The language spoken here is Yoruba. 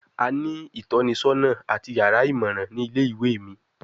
A ni itọnisọna ati yara imọran ni ile-iwe mi